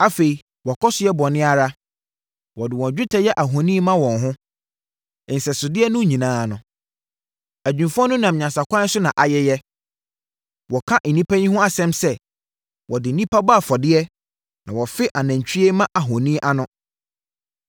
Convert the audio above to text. Afei, wɔkɔ so yɛ bɔne ara; wɔde wɔn dwetɛ yɛ ahoni ma wɔn ho, nsɛsodeɛ no nyinaa no. Adwumfoɔ no nam nyansakwan so na ayeyɛ. Wɔka nnipa yi ho asɛm sɛ, “Wɔde nnipa bɔ afɔdeɛ na wɔfe anantwie mma ahoni ano.”